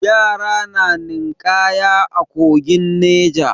Yara na ninƙaya a kogin Neja.